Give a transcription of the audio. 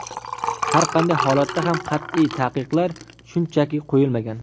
Har qanday holatda ham qat’iy taqiqlar shunchaki qo‘yilmagan.